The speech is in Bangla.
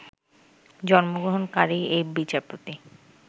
জন্মগ্রহণকারী এই বিচারপতি